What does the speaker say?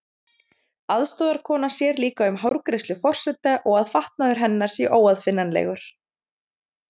Aðstoðarkona sér líka um hárgreiðslu forseta, og að fatnaður hennar sé óaðfinnanlegur.